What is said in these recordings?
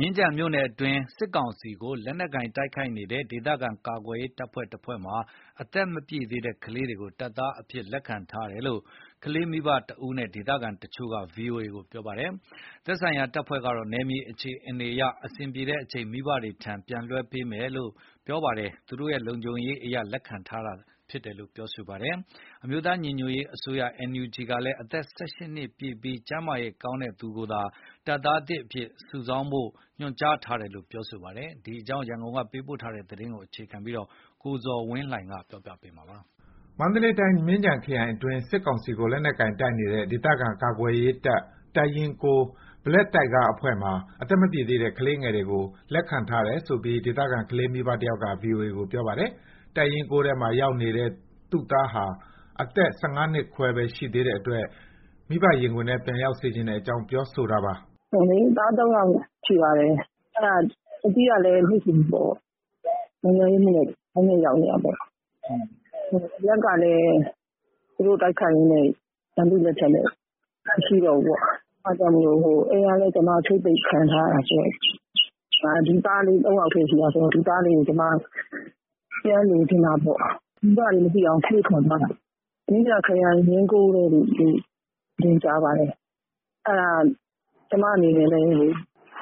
မြင်းခြံမြို့နယ်အတွင်း စစ်ကောင်စီကို လက်နက်ကိုင် တိုက်နေတဲ့ ဒေသခံကာကွယ်ရေးတပ်ဖွဲ့ တဖွဲ့မှာ အသက်မပြည့်တဲ့ ကလေးငယ်တွေကို တပ်သားသစ်အဖြစ် လက်ခံထားတယ်ဆိုပြီး ကလေးမိဘတယောက်နဲ့ ဒေသခံတချို့က ဗွီအိုအေကို ပြောပါတယ်။ သက်ဆိုင်ရာ တပ်ဖွဲ့ကတော့ နယ်မြေအခြေအနေအရ အဆင်ပြေတဲ့အချိန် မိဘတွေဆီ လွှဲပြောင်းပေးမှာဖြစ်ပြီး သူတို့ လုံခြုံရေးအရ လက်ခံထားတာဖြစ်တယ်လို့ ပြောပါတယ်။ အမျိုးသား ညီညွတ်ရေးအစိုးရ NUG ကလည်း အသက် ၁၈ နှစ်ပြည့်ပြီး ကျန်းမာရေး ကောင်းတဲ့သူကိုပဲ တပ်သားသစ်အဖြစ်လက်ခံဖို့ ညွှန်ကြားထားတယ်လို့ ပြောဆိုပါတယ်။ ဒီအကြောင်း ရန်ကုန်က သတင်းပေးပို့ထားပါတယ်။ မန္တလေးတိုင်း မြင်းခြံခရိုင်အတွင်း စစ်ကောင်စီကို လက်နက်ကိုင်တပ်နေတဲ့ ဒေသခံ ကာကွယ်ရေးတပ် တပ်ရင်း (၉) Black Tiger အဖွဲ့မှာ အသက်မပြည့်သေးတဲ့ ကလေးငယ်တွေကို လက်ခံထားတယ်ဆိုပြီး ဒေသခံ ကလေးမိဘတယောက်က ဗွီအိုအေကို ပြောပါတယ်။ တပ်ရင်း ၉ ထဲမှာ ရောက်နေတဲ့ သူ့သားဟာ အသက် ၁၅ နှစ်ခွဲပဲ ရှိသေးတဲ့အတွက် မိဘရင်ခွင်ထဲ ပြန်ရောက်စေချင်တဲအ့ကြောင်း ပြောဆိုတာပါ။ "သား ၃ ယောက်ရှိပါတယ်။ အကြီးကလည်း နိုင်ငံရေးအမှုနဲ့ ထောင်ထဲရောက်နေတာပေါ့။ အလတ်ကလည်း သူတို့ကို တိုက်ခိုက်ရင်းနဲ့ ရန်သူ့လက်ထဲ မရှိတော့ဘူးပေါ့။ အိမ်ကလည်း ကျွန်မ ချိတ်ပိတ်ခံထားရတာဆိုတော့ ဒီသားလေး ၃ ယောက်တည်း ရှိတာဆိုတော့ ဒီသားလေးကို ပြန်လိုချင်တာပေါ့။ မိဘတွေ မသိအောင် ခိုးထွက်သွားတာ။ မြင်းခြံခရိုင် ရင်း (၉) ထဲလို့ ကြားပါတယ်။ အဲ့ဒါ ကျွန်မတို့ အနေနဲ့လည်းလေ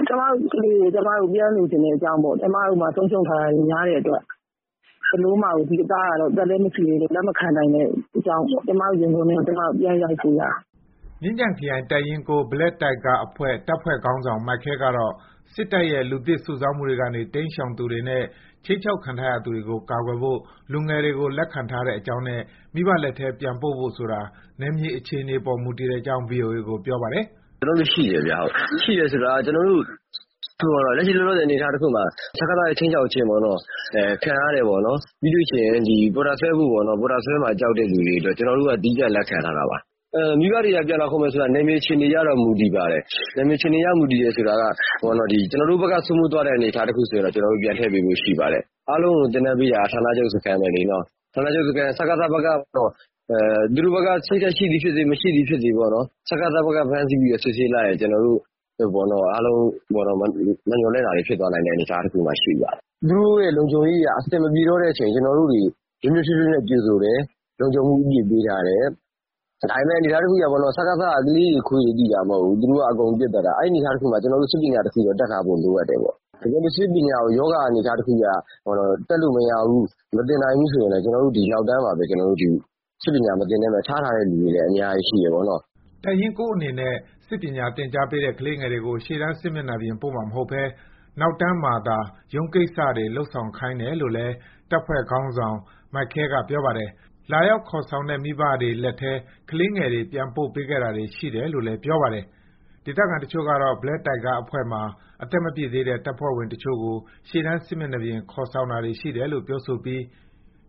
ကျွန်မတို့ ကလေးကို ကျွန်မတို့ ပြန်လိုချင်တဲ့အကြောင်းပေါ့။ ကျွန်မတို့မှာ ဆုံးရှုံးထားရတာတွေများတဲ့အတွက် ဒီသားကို အသက်လည်း မပြည်သေး လက်မခံနိုင်တဲ့အတွက်ကြောင့် ကျွန်မတို့ ရင်ခွင်ထဲကို ပြန်ရောက်စေချင်တာ။" မြင်းခြံခရိုင် တပ်ရင်း (၉) Black Tiger အဖွဲ့ တပ်ဖွဲ့ ခေါင်းဆောင် မိုက်ခဲ ကတော့ စစ်တပ်ရဲ့ လူသစ် စုဆောင်းမှုတွေကနေ တိမ်းရှောင်သူတွေနဲ့ ခြိမ်းခြောက်ခံထားရသူတွေကို ကာကွယ်ဖို့ လူငယ်တွေကို လက်ခံထားတဲ့အကြောင်းနဲ့ မိဘလက်ထဲ ပြန်ပို့ဖို့ဆိုတာ နယ်မြေအခြေအနေအပေါ် မူတည်တဲ့အကြောင်း ဗွီအိုအေကို ပြောပါတယ်။ "ကျွန်တော်တို့ ရှိတယ်ခင်ဗျ။ ရှိတယ်ဆိုတာက လက်ရှိ လောလောဆယ် အနေအထားမှာ စကစ ရဲ့ ခြိမ်းခြောက်ခြင်းခံရတဲ့၊ ပြီးရင် ပေါ်တာဆွဲခံရတဲ့၊ ပေါ်တာဆွဲမှာ ကြောက်တဲ့ သူတွေကို သီးသန့် လက်ခံထားတာပါ။ မိဘတွေက ပြန်လာခေါ်မယ်ဆိုရင် နယ်မြေအခြေအနေရ မူတည်ပါတယ်။ ကျွန်တော်တို့ဘက်က စိုးမိုးသွားတဲ့ အနေအထား တခုဆိုရင် ကျွန်တော်တို့က ပြန်ထည့်ပေးမယ့် အနေအထားရှိပါတယ်။ အားလုံးကို သင်တန်းပေးတာတော့ ဌာနချုပ် စခန်းပဲပေါ့။ သူတို့ဘက်က စိတ်ဓာတ်ရှိသည် ဖြစ်စေ မရှိသည်ဖြစ်စေ စကစ ဘက်က ဖမ်းဆီးပြီး စစ်ဆေးလိုက်ရင် ကျွန်တော်တို့ အားလုံး မမျှော်လင့်တာတွေ ဖြစ်သွားနိုင်တယ်။ သူတို့ လုံခြုံရေးအရ အဆင်မပြေတဲ့အချိန် ကျွန်တော်တို့ နွေးနွေးထွေးထွေးနဲ့ ကြိုဆိုတယ်။ လုံခြံမှုအပြည့်ပေးထားတယ်။ ဒါပေမယ့် စကစ က ကလေးတွေ ခွေးတွေသိတာမဟုတ်ဘူး။ အကုန်ပစ်သတ်တာဆိုတော့ ကျွန်တော်တို့ စစ်ပညာ တခု တတ်ထားဖို့တော့လိုတယ်။ တကယ်လို့ စစ်ပညာကို ရောဂါ အနေအထားတခုအရ တက်လို့မရဘူး။ မသင်နိုင်ဘူးဆို ကျွန်တော်တို့ နောက်တန်းမှာ ထားထားတဲ့သူတွေ အများကြီးရှိတယ်ပေါ့။" တပ်ရင်း (၉) အနေနဲ့ စစ်ပညာသင်ကြားပေးထားတဲ့ ကလေးငယ်တွေကို ရှေ့တန်း စစ်မျက်နှာပြင်ပို့မှာ မဟုတ်ဘဲ နောက်တန်းမှာသာ ရုံးကိစ္စတွေ လုပ်ဆောင်ခိုင်းတယ်လို့ လည်း တပ်ဖွဲ့ခေါင်းဆောင် မိုက်ခဲက ပြောပါတယ်။ လာရောက်ခေါ်ဆောင်တဲ့ မိဘတွေလက်ထဲ ကလေးငယ်တွေ ပြန်ပို့ပေးခဲ့တာတွေ ရှိတယ်လို့လည်း ပြောပါတယ်။ ဒေသခံတချို့ကတော့ Black Tiger အဖွဲ့ မှာ အသက်မပြည့်သေးတဲ့ တပ်ဖွဲ့ဝင်တချို့ကို ရှေ့တန်း စစ်မျက်နှာပြင် ခေါ်ဆောင်တာတွေရှိတယ်လို့ ပြောဆိုပြီး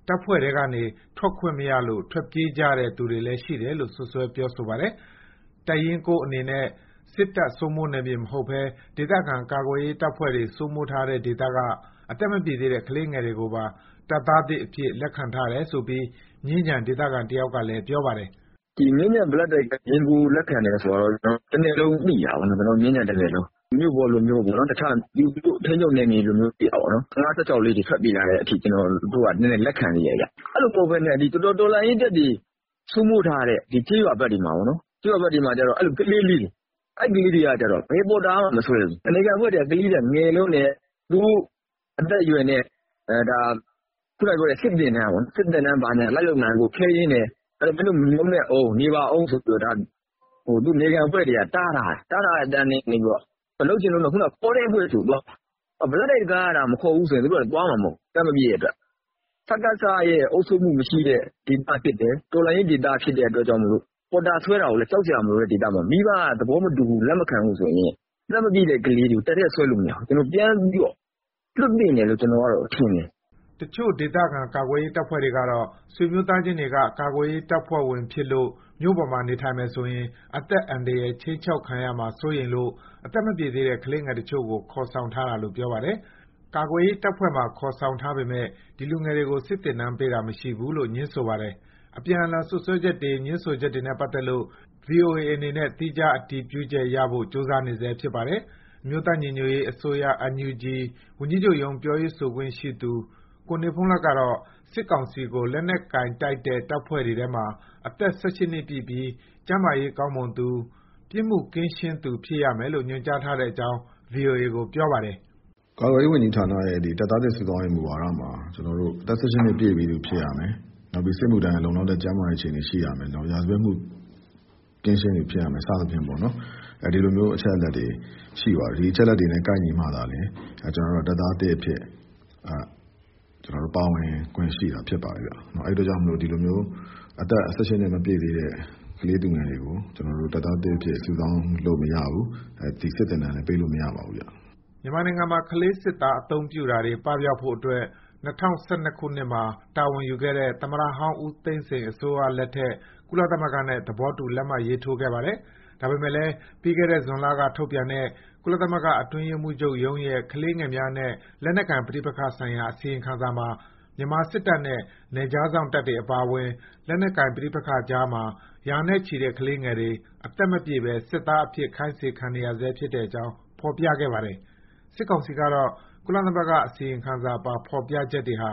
တပ်ဖွဲ့ထဲကနေ ထွက်ခွင့်မရလို့ ထွက်ပြေးကြတဲ့ သူတွေလည်း ရှိတယ်လို့ စွပ်စွဲ ပြောပါတယ်။ တပ်ရင်း (၉) အနေနဲ့ စစ်တပ် စိုးမိုးနယ်မြေ မဟုတ်ဘဲ ဒေသခံကာကွယ်ရေးတပ်ဖွဲ့တွေ စိုးမိုးထားတဲ့ ဒေသက အသက်မပြည့်သေးတဲ့ ကလေးငယ်တွေကိုပါ တပ်သားသစ်အဖြစ် လက်ခံထားတယ်ဆိုပြီး မြင်းခြံ ဒေသခံတယောက်က ပြောပါတယ်။ "မြင်းခြံရင်း (၉) Black Tiger က လက်ခံတယ်ဆိုတာက တနယ်လုံးသိတာပေါ့နော်။ မြင်းခြံတနယ်လုံး။ မြို့ပေါ်လိုမျိုး ထိန်းချုပ်နယ်မြေက ၁၅-၁၆ လေးတွေဆိုရင်လက်ခံသေးတာပေါ့နော်။ အဲ့လို မဟုတ်ဘဲနဲ့ တော်လှန်ရေးတပ်တွေ စိုးမိုးထားတဲ့ ကျေးရွာဘက်တွေမှာ အဲ့လို ကလေးလေးတွေ အဲ့ကလေးတွေက ဘယ်ပေါ်တာမှ မဆွဲဘူး။ နယ်ခံအဖွဲ့တွေက ကလေးတွေက ငယ်လွန်းတယ်။ အသက်အရွယ်နဲ့ စစ်သင်တန်းဘာညာ လိုက်လုပ်နိုင်ဖို့ ခဲယဉ်းတယ်။ တပ်ထဲဝင်ဖို့ နေပါအုံးဆိုပြီး တားထားတယ်။ အဲ့မှာ လုပ်ချင်လွန်းလို့ ဆိုပြီး ခေါ်တဲ့အဖွဲ့ဆီကိုသွားတယ်။ Black Tiger ကသာ မခေါ်ဘူးဆိုရင် သူတို့က သွားမှာမဟုတ်ဘူး။ အသက်မပြည့်တဲ့အတွက် စကစရဲ့ အုပ်ချုပ်မှု မရှိတဲ့အတွက် ဒေသဖြစ်တယ်။ တော်လှန်ရေး ဒေသဖြစ်တဲ့အတွက် ပေါ်တာ မဆွဲတဲ့ဒေသမှာ မိဘ သဘောမတူ လက်မခံဘူးဆိုရင် အသက်မပြည့်တဲ့ ကလေးတွေကို တပ်ထဲဆွဲလို့မရဘူး။ ပြန်ပြီး လွှတ်သင့်တယ်လို့ထင်တယ်။" တချို့ ဒေသခံ ကာကွယ်ရေးတပ်ဖွဲ့တွေကတော့ ဆွေမျိုးသားချင်းတွေက ကာကွယ်ရေး တပ်ဖွဲ့ဝင်ဖြစ်လို့ မြို့ပေါ်မှာနေထိုင်မယ်ဆိုရင် အသက်အန္တရာယ် ခြိမ်းခြောက်ခံရမှာ စိုးလို့ အသက်မပြည့်သေးတဲ့ ကလေးငယ်အချို့ကို ခေါ်ဆောင်ထားတာလို့ ပြောပါတယ်။ ကာကွယ်ရေး တပ်ဖွဲ့မှာ ခေါ်ဆောင်ထားပေမယ့် ဒီ လူငယ်တွေကို စစ်သင်တန်းပေးတာ မရှိဘူးလို့ ငြင်းဆိုပါတယ်။ အပြန်အလှန်စွပ်စွဲချက်တွေ ငြင်းဆိုချက်တွေနဲ့ ပတ်သက်လို့ ဗွီအိုအေအနေနဲ့ သီးခြား အတည်ပြုချက် ရဖို့ ကြိုးစားနေဆဲဖြစ်ပါတယ်။ အမျိုးသား ညီညွတ်ရေးအစိုးရ NUG ဝန်ကြီးချုပ်ရုံး ပြောရေးဆိုခွင့်ရှိသူ ကိုနေဘုန်းလတ်ကတော့ စစ်ကောင်စီကို လက်နက်ကိုင်တိုက်တဲ့ တပ်ဖွဲ့တွေထဲမှာ အသက် ၁၈ နှစ်ပြည့်ပြီး ကျန်းမာရေးကောင်းမွန်သူ၊ ပြစ်မှုကင်းရှင်းသူ ဖြစ်ရမယ်လို့ ညွှန်ကြားထားတဲ့အကြောင်း ဗွီအိုအေကို ပြောပါတယ်။ "ကာကွယ်ရေးဝန်ကြီးဌာနရဲ့ တပ်သားသစ် စုဆောင်းရေး မူဝါဒမှာ အသက် ၁၈ နှစ် ပြည့်ပြီးသူဖြစ်ရမယ်။ စစ်မှုထမ်းဖို့ လုံလောက်တဲ့ ကျန်းမာရေး ရှိသူဖြစ်ရမယ်။ ရာဇဝတ်မှု ကင်းရှင်းသူ ဖြစ်ရမယ် စသဖြင့် ဒီလို အချက်အလက်တွေရှိပါတယ်။ ဒီလိုကိုက်ညီမှ တပ်သားသစ်အဖြစ် ပါဝင်ခွင့်ရှိတာ ဖြစ်ပါတယ်။ အဲ့အတွက်ကြောင့် အသက် ၁၈ နှစ် မပြည့်သေးတဲ့ ကလေးသူငယ်တွေကို ကျွန်တော်တို့ တပ်သားသစ်အဖြစ် စုဆောင်းလို့မရပါဘူး။ စစ်သင်တန်းလည်း ပေးလို့မရပါဘူး။" မြန်မာနိုင်ငံမှာ ကလေးစစ်သား အသုံးပြုတာတွေ ပပျောက်ဖို့အတွက် ၂၀၁၂ ခုနှစ်မှာတာဝန်ယူခဲ့တဲ့ သမ္မတဟောင်း ဦးသိန်းစိန်အစိုးရလက်ထက် ကုလသမဂ္ဂနဲ့ သဘောတူ လက်မှတ်ရေးထိုးခဲ့ပါတယ်။ ဒါပေမဲ့လည်း ပြီးခဲ့တဲ့ ဇွန်လက ထုတ်ပြန်တဲ့ ကုလသမဂ္ဂ အတွင်းရေးမှူးချုပ်ရဲ့ ကလေးသူငယ်များနဲ့ လက်နက်ကိုင်ပဋိပက္ခဆိုင်ရာ အစီရင်ခံစာမှာ မြန်မာစစ်တပ်နဲ့ နယ်ခြားစောင့်တပ်တွေအပါအဝင် လက်နက်ကိုင် ပဋိပက္ခကြားမှာ ရာနဲ့ချီတဲ့ ကလေးငယ်တွေ အသက်မပြည့်ဘဲ တပ်သားအဖြစ် ခိုင်းစေခံနေရဆဲ ဖြစ်တဲ့အကြောင်း ဖေါ်ပြခဲ့ပါတယ်။ စစ်ကောင်စီကတော့ ကုလသမဂ္ဂ အစီရင်ခံစာပါ ဖေါ်ပြချက်တွေဟာ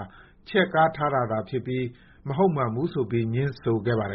ချဲ့ကားတာသာဖြစ်ပြီး မဟုတ်မမှန်ဘူးဆိုပြီး ငြင်းဆိုခဲ့ပါတယ်